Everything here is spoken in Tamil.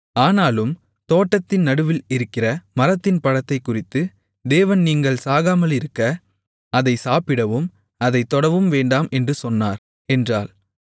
ஆனாலும் தோட்டத்தின் நடுவில் இருக்கிற மரத்தின் பழத்தைக்குறித்து தேவன் நீங்கள் சாகாமலிருக்க அதை சாப்பிடவும் அதைத் தொடவும் வேண்டாம் என்று சொன்னார் என்றாள்